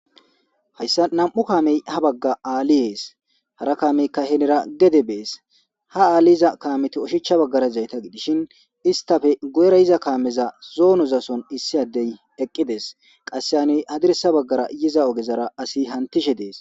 Hayssa nam'u kaamey ha bagga aali yees hara kaameyka henira gedde bees ha aali yiza kaameti oshichcha baggara yizayta gidishin istappe guyera yiza kaameza zoonozason issi addey eqqides qasse hani hadirssa baggara yiza oggezara asi hantishe dees